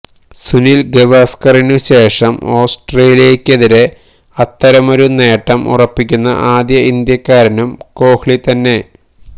സുനില് ഗവാസ്കറിനുശേഷം ആസ്ട്രേലിയക്കെതിരെ അത്തരമൊരു നേട്ടം ഉറപ്പിക്കുന്ന ആദ്യ ഇന്ത്യക്കാരനും കോഹ്ലി തന്നെ